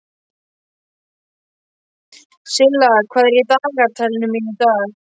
Silla, hvað er í dagatalinu mínu í dag?